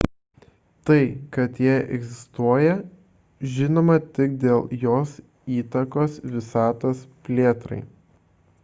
tai kad ji egzistuoja žinoma tik dėl jos įtakos visatos plėtrai